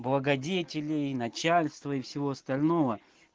благодетелей начальство и всего остального